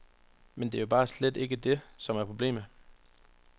Men det er jo bare slet ikke det, som er problemet.